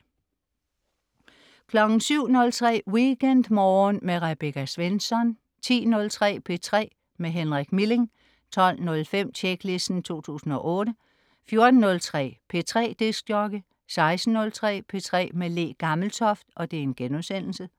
07.03 WeekendMorgen med Rebecca Svensson 10.03 P3 med Henrik Milling 12.05 Tjeklisten 2008 14.03 P3 dj 16.03 P3 med Le Gammeltoft*